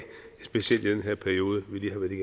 specielt i den periode